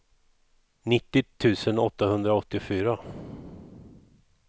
nittio tusen åttahundraåttiofyra